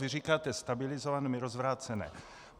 Vy říkáte stabilizované, my rozvrácené.